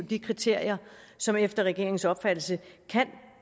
de kriterier som efter regeringens opfattelse kan